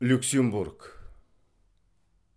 люксембург